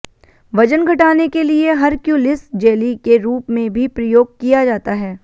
वजन घटाने के लिए हरक्यूलिस जेली के रूप में भी प्रयोग किया जाता है